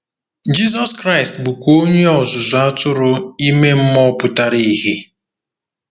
Jizọs Kraịst bụkwa Onye Ọzụzụ Atụrụ ime mmụọ pụtara ìhè.